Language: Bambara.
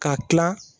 K'a tila